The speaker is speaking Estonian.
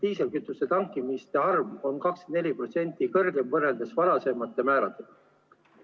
Diislikütuse tankimiste arv on 24% suurem kui varasemate määrade ajal.